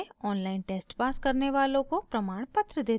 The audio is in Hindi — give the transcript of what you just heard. online test pass करने वालों को प्रमाणपत्र देते हैं